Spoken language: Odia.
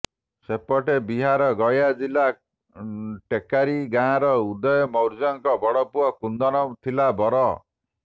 ସେପଟେ ବିହାର ଗୟା ଜିଲ୍ଲା ଟେକାରୀ ଗାଁର ଉଦୟ ମୌର୍ୟ୍ୟଙ୍କ ବଡପୁଅ କୁନ୍ଦନ ଥିଲା ବର